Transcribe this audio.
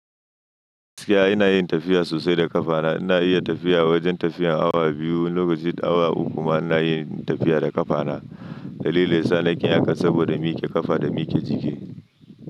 Siya ina yin tafiya sosai da ƙafana. Ina iya tafiya wajen tafiyan awa biyu, lokacin awa uku ma ina yin tafiya da ƙafana. Dalili sa nakin haka saboda muke ƙafa da muke jiki.